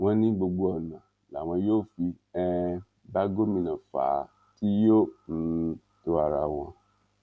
wọn ní gbogbo ọnà làwọn yóò fi um bá gómìnà fà á tí yóò um tó ara wọn